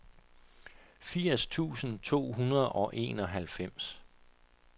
firs tusind to hundrede og enoghalvfems